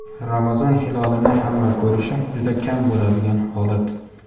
Ramazon hilolini hamma ko‘rishi juda kam bo‘ladigan holat.